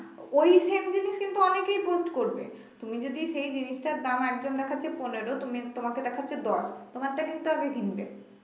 ওই same জিনিস কিন্তু অনেকেই post করবে তুমি যদি সেই জিনিসটার দাম একজন দেখাচ্ছে পনেরো তুমি তোমাকে দেখাচ্ছে দশ তোমার থেকে তো আগে কিনবে